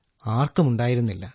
ആർക്കും ഉണ്ടായിരുന്നില്ല